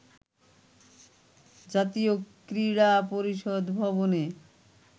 জাতীয় ক্রীড়া পরিষদ ভবনে